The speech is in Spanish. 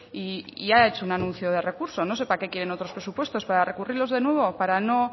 y ha hecho un anuncio de recurso no sé para qué quieren otros presupuestos para recurrirlos de nuevo para no